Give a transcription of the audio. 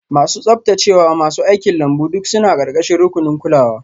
Masu tsaftacewa, masu aikin lambu duk suna ƙarƙashin rukunin kulawa.